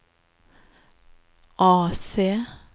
AC